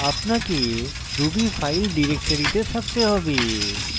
আপনাকে ruby file ডিরেক্টরিতে থাকতে হবে